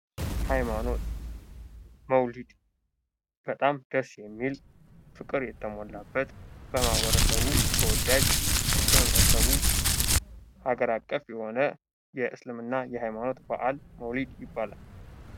ሃይማኖት መውሊድ በጣም ደስ የሚል፣ ፍቅር የተሞላበት፣ በማኅበረሰቡ ተወዳጅ፣ በህብረተሰቡ አገር አቀፍ፣ የሆነ የእስልምና ሃይማኖት ባዕል መውሊድ ይባላል።